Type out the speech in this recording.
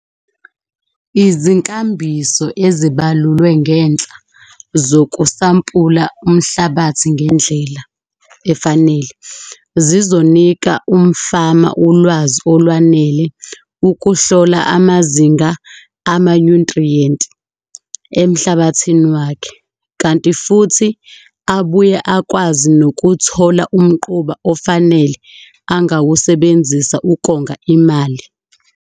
Izinkambiso ezibalulwe ngenhla zokusampula umhlabathi ngendlela efanele zizonika umfama ulwazi olwanele ukuhlola amazinga amanyuthriyenti emhlabathini wakhe, kanti futhi abuye akwazi nokuthola umquba ofanele angawusebenzisa ukonga imali.